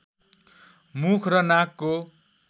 मुख र नाकको